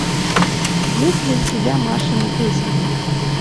есть ли у тебя машины песенки